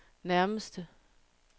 nærmeste